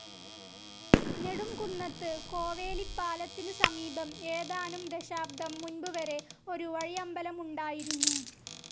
നെടുംകുന്നത്ത്‌ കോവേലിപ്പാലത്തിനു സമീപം ഏതാനും ദശാബ്ദം മുൻപുവരെ ഒരു വഴിയമ്പലമുണ്ടായിരുന്നു.